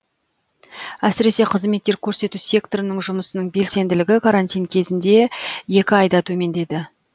әсіресе қызметтер көрсету секторының жұмысының белсенділігі карантин кезіндегі екі айда төмендеді